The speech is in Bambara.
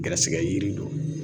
Gɛrɛsigɛ yiri don